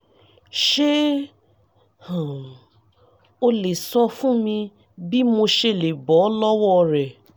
ṣé um o lè sọ fún mi bí mo ṣe lè bọ́ lọ́wọ́ rẹ̀?